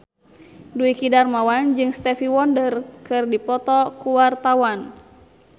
Dwiki Darmawan jeung Stevie Wonder keur dipoto ku wartawan